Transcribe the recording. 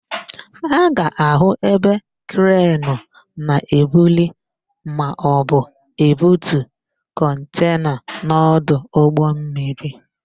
A ga-áhụ̀ ebe krenu na-ebuli maọbụ ebutu kọntena n'ọdụ ụgbọmmiri